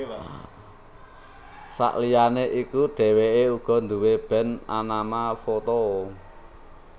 Saliyané iku dhèwèké uga nduwé band anama Foto